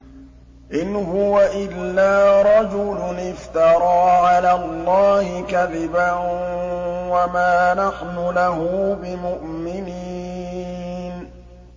إِنْ هُوَ إِلَّا رَجُلٌ افْتَرَىٰ عَلَى اللَّهِ كَذِبًا وَمَا نَحْنُ لَهُ بِمُؤْمِنِينَ